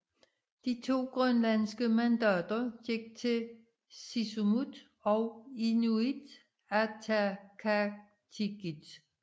De to grønlandske mandater gik til Siumut og Inuit Ataqatigiit